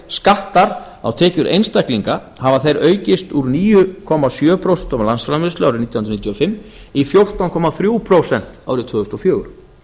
skattar á tekjur einstaklinga hafa þeir aukist úr níu komma sjö prósent af landsframleiðslu árið nítján hundruð níutíu og fimm í fjórtán komma þrjú prósent árið tvö þúsund og fjögur